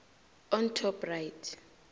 on top right